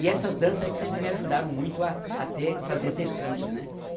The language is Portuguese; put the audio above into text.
E essas dança é que sempre me ajudaram muito a, a ter, fazer exercício, né?